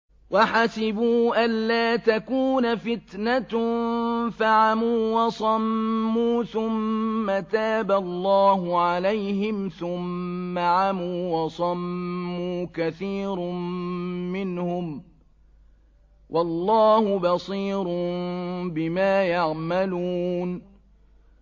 وَحَسِبُوا أَلَّا تَكُونَ فِتْنَةٌ فَعَمُوا وَصَمُّوا ثُمَّ تَابَ اللَّهُ عَلَيْهِمْ ثُمَّ عَمُوا وَصَمُّوا كَثِيرٌ مِّنْهُمْ ۚ وَاللَّهُ بَصِيرٌ بِمَا يَعْمَلُونَ